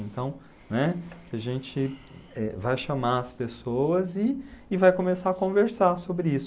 Então, né, a gente, eh, vai chamar as pessoas e e vai começar a conversar sobre isso.